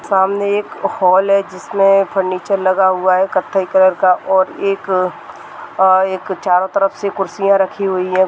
सामने एक हॉल है जिसमें फर्नीचर लगा हुआ है कथई कलर का और एक अ एक चारो तरफ से कुर्सीया रखी हुई है।